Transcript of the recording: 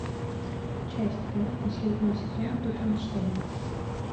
часть пять последнего сезона тутенштейн